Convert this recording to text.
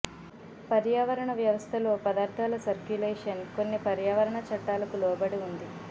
పర్యావరణ వ్యవస్థలో పదార్థాల సర్క్యులేషన్ కొన్ని పర్యావరణ చట్టాలకు లోబడి ఉంది